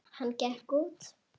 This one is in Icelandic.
Hann gekk út.